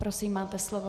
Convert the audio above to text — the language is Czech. Prosím, máte slovo.